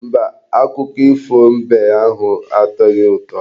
Mba, akụkọ ifo mbe ahụ atoghi ụtọ.